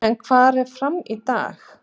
En hvar er FRAM í dag?